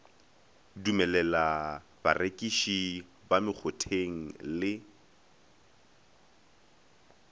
dumelela barekiši ba mekgotheng le